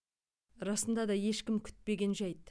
расында да ешкім күтпеген жәйт